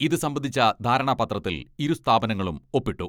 ഇത് സംബന്ധിച്ച ധാരണാപത്രത്തിൽ ഇരു സ്ഥാപനങ്ങളും ഒപ്പിട്ടു.